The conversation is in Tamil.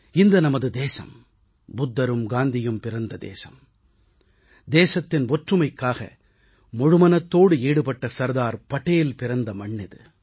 இந்த நமது தேசம் புத்தரும் காந்தியும் பிறந்த தேசம் தேசத்தின் ஒற்றுமைக்காக முழுமனத்தோடு ஈடுபட்ட சர்தார் படேல் பிறந்த மண்ணிது